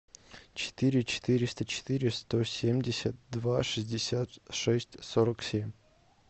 четыре четыреста четыре сто семьдесят два шестьдесят шесть сорок семь